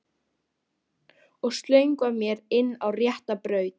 Og slöngva mér inn á rétta braut.